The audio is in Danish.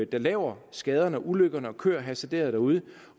der laver skaderne og ulykkerne og kører hasarderet derude